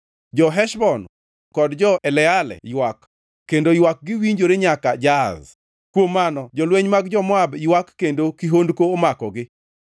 Jo-Heshbon kod jo-Eleale ywak, kendo ywakgi winjore nyaka Jahaz. Kuom mano jolweny mag jo-Moab ywak kendo kihondko omakogi.